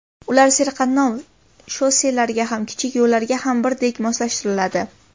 Ular serqatnov shosselarga ham, kichik yo‘llarga ham birdek moslashtiriladi.